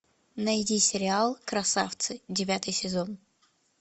найди сериал красавцы девятый сезон